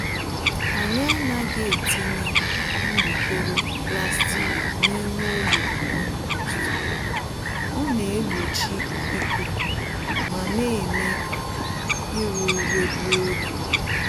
Anyị anaghị etinye mgbokoro plastic n'ime olulu kompost, ọ naegbochi ikuku ma némè' ka ire ure gbuo ógè